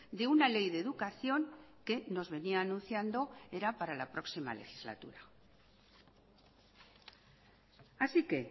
de una ley de educación que nos venía anunciando era para la próxima legislatura así que